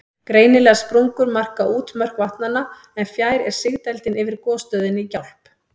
Greinilegar sprungur marka útmörk vatnanna, en fjær er sigdældin yfir gosstöðinni í Gjálp.